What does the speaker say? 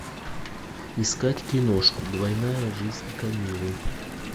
искать киношку двойная жизнь камиллы